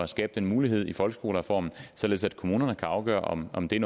skabe den mulighed i folkeskolereformen således at kommunerne kan afgøre om om det er